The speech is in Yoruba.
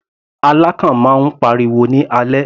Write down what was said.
Alákàn máa ń pariwo ní alẹ́.